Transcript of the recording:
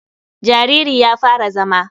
Jariri ya fara zama.